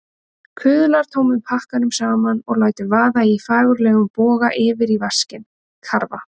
Kuðlar tómum pakkanum saman og lætur vaða í fagurlegum boga yfir í vaskinn, karfa!